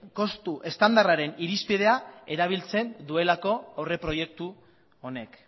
kostu estandarraren irizpidea erabiltzen duelako aurreproiektu honek